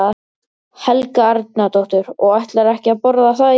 Helga Arnardóttir: Og ætlarðu ekki að borða það í dag?